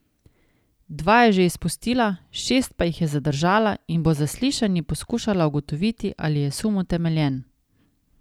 Dva je že izpustila, šest pa jih je zadržala in bo z zaslišanji poskušala ugotoviti, ali je sum utemeljen.